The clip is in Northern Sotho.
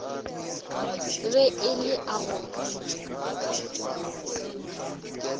be e le a go